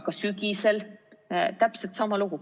Ka sügisel, täpselt sama lugu.